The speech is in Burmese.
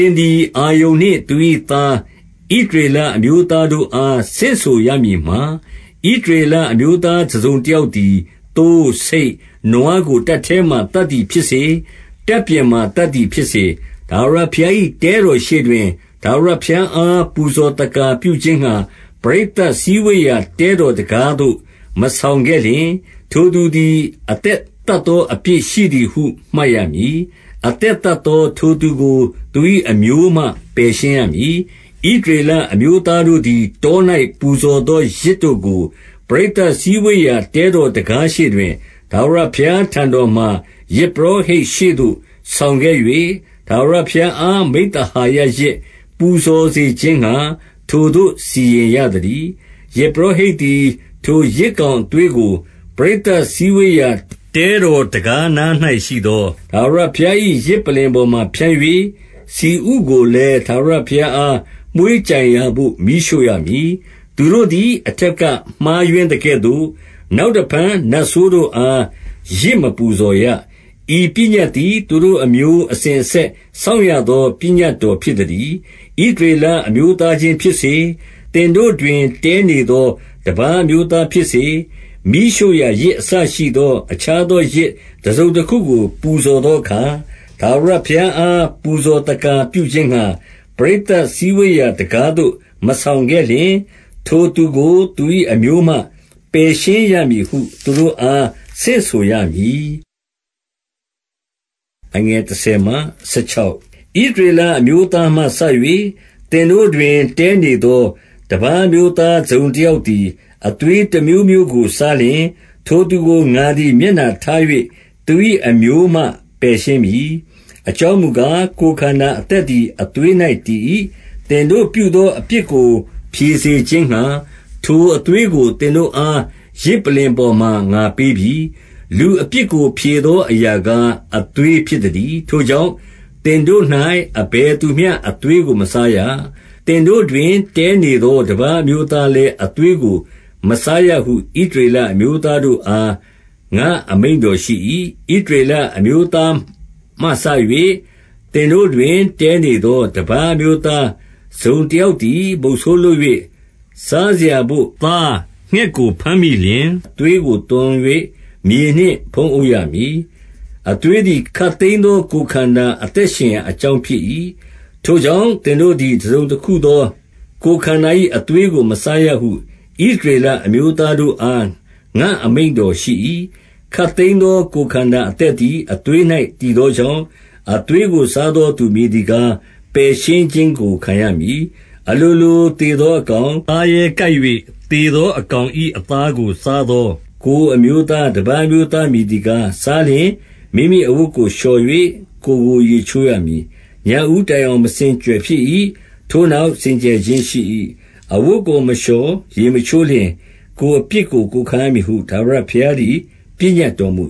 င်သည် အာရုန်နှင့် သူ၏သား၊ - ဣသရေလအမျိုးသားတို့အား ဆင့်ဆိုရမည်မှာ၊ 3 ဣသရေလအမျိုးသား တစုံတယောက်သည် သိုး၊ ဆိတ်၊ နွားကို တပ်ထဲမှာ သတ်သည်ဖြစ်စေ၊ တပ်ပြင်မှာ သတ်သည်ဖြစ်စေ၊ 4 ထာဝရဘုရား၏ တဲတော်ရှေ့တွင် ထာဝရဘုရားအား ပူဇော်သက္ကာ ပြုခြင်းငှါ ပရိသတ်စည်းဝေးရာ တဲတော်တံခါးသို့ မဆောင်ခဲ့လျှင်၊ ထိုသူသည် အသက်သတ်သော အပြစ်ရှိသည်ဟု မှတ်ရမည်။ အသက်သတ်သော ထိုသူကို သူ၏အမျိုးမှ ပယ်ရှင်းရမည်။ 5 ဣသရေလအမျိုးသားတို့သည် တော၌ ပူဇော်သောယဇ်တို့ကို၊ ပရိသတ်စည်းဝေးရာ တဲတော်တံခါး ရှေ့တွင် ထာဝရဘုရားထံတော်မှာ ယဇ်ပုရောဟိတ်ရှေ့သို့ ဆောင်ခဲ့၍၊ ထာဝရဘုရားအား မိဿ ဟာယယဇ် ပူဇော်စေခြင်းငှါ ထိုသို့ စီရင်ရသတည်း။ 6 ယဇ်ပုရောဟိတ်သည်၊ ထိုယဇ်ကောင်အသွေးကို ပရိသတ်စည်းဝေးရာ တဲတော်တံခါးနား၌ရှိသော ထာဝရဘုရား၏ ယဇ်ပလ္လင်ပေါ်မှာ ဖြန်း၍၊ ဆီဥကိုလည်း ထာဝရဘုရားအား မွှေးကြိုင်ရာဘို့ မီးရှို့ရမည်။ 7 သူတို့သည် အထက်က မှားယွင်းသကဲ့သို့ နောက်တဖန် နတ်ဆိုးတို့အား ယဇ်မပူဇော်ရ။ ဤပညတ် သည် သူတို့အမျိုးအစဉ်အဆက် စောင့်ရသော ပညတ်တော် ဖြစ်သတည်း။ 8 ဣသရေလအမျိုးသားချင်း ဖြစ်စေ၊ သင်တို့တွင် တည်းနေသော တပါး အမျိုးသားဖြစ်စေ၊ မီးရှို့ရာ ယဇ် အစရှိသော အခြားသောယဇ် တစုံတခုကို ပူဇော်သောအခါ၊- 9 ထာဝရဘုရားအား ပူဇော်သက္ကာပြုခြင်းငှါ၊ ပရိသတ်စည်းဝေးရာ တံခါးသို့ မဆောင်ခဲ့လျှင်၊ ထိုသူကို သူ၏အမျိုးမှ ပယ်ရှင်းရမည်ဟု သူတို့အား ဆင့်ဆိုရမည်။ 10 ဣသရေလအမျိုးသားမှစ၍၊ သင်တို့တွင် တည်းနေသော တပါးအမျိုးသား တစုံတယောက်သည်၊ အသွေး တမျိုးမျိုးကို စားလျှင်၊ ထိုသူကို ငါသည် မျက်နှာထား၍ သူ၏ အမျိုးမှ ပယ်ရှင်းမည်။ 11 အကြောင်းမူကား၊ ကိုယ်ခန္ဓာ အသက်သည် အသွေး၌ တည်၏။ သင်တို့ပြုသောအပြစ်ကို ဖြေစေ ခြင်းငှါ၊ ထိုအသွေးကို သင်တို့အား ယဇ်ပလ္လင်ပေါ်မှာ ငါပေးပြီ။ လူအပြစ်ကို ဖြေသောအရာကား၊ အသွေး ဖြစ်သတည်း။ 12 ထိုကြောင့် သင်တို့၌ အဘယ်သူမျှ အသွေးကို မစားရ။ သင်တို့တွင် တည်းနေသော တပါးအမျိုး သားလည်း အသွေးကို မစားရဟု ဣသရေလအမျိုးသားတို့အား ငါ့အမိန့်တော်ရှိ၏။ 13 ဣသရေလအမျိုးသားမှစ၍ သင်တို့တွင် တည်းနေသော တပါးအမျိုးသား တစုံတယောက်သည်၊ မုဆိုးလုပ်၍ စားစရာဘို့ သား၊ ငှက်ကို ဘမ်းမိလျှင်၊ အသွေးကို သွန်၍ မြေနှင့်ဖုံးရမည်။ 14 အသွေးသည် ခပ်သိမ်းသော ကိုယ်ခန္ဓာ အသက်ရှင်ရာအကြောင်း ဖြစ်၏။ ထိုကြောင့် သင်တို့သည် တစုံတခုသော ကိုယ်ခန္ဓာ၏ အသွေးကို မစားရဟု ဣသရေလအမျိုးသားတို့အား ငါ့အမိန့်တော်ရှိ၏။ ခပ်သိမ်းသော ကိုယ်ခန္ဓာအသက်သည် အသွေး၌ တည်သောကြောင့်၊ အသွေးကို စားသောသူ မည်သည်ကား၊ ပယ်ရှင်းခြင်းကို ခံရမည်။ 15 အလိုလို သေသောအကောင်၊ သားရဲကိုက်၍သေသော အကောင်၏အသားကို စားသော ကိုယ် အမျိုးသား၊ တပါးအမျိုးသား မည်သည်ကား၊ စားလျှင် မိမိအဝတ်ကိုလျှော်၍ ကိုယ်ကို ရေချိုးရမည်။ ညဦးတိုင်အောင် မစင်ကြယ်ဖြစ်၏။ ထိုနောက် စင်ကြယ်ခြင်းရှိ၏။ 16 အဝတ်ကို မလျှော် ရေမချိုးလျှင်၊ ကိုယ်အပြစ်ကို ကိုယ်ခံရမည်ဟု ထာဝရဘုရားသည် ပညတ်တော် မူ